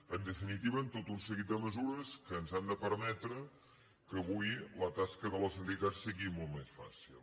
en definitiva tot un seguit de mesures que ens han de permetre que avui la tasca de les entitats sigui molt més fàcil